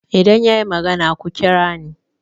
idan ya yi magana ku kira ni